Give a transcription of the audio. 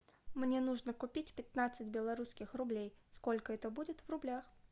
мне нужно купить пятнадцать белорусских рублей сколько это будет в рублях